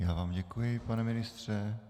Já vám děkuji, pane ministře.